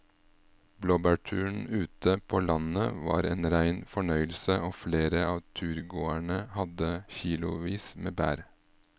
Blåbærturen ute på landet var en rein fornøyelse og flere av turgåerene hadde kilosvis med bær.